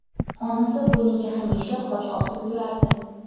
Onasi bo‘yniga hamisha xoch osib yurardi.